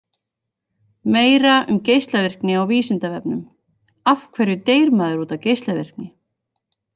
Meira um geislavirkni á Vísindavefnum: Af hverju deyr maður út af geislavirkni?